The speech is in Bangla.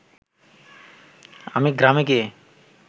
আমি গ্রামে গিয়ে